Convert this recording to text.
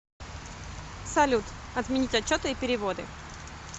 салют отменить отчеты и переводы